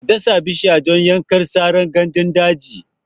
Ka dasa bishiya don yaƙar saran gandun daji!